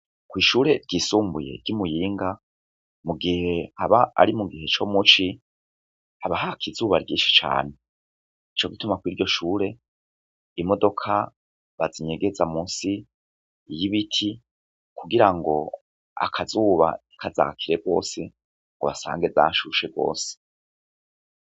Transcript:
Kw'ishure ryisumbuye ryimuyinga mu gihe haba ari mu gihe co muci haba hakizuba ryinshi cane ni co gituma kw'iryo shure imodoka bazinyegeza musi iy ibiti kugira ngo akazuba ikazakire rwose ngo basange dashusheko osi.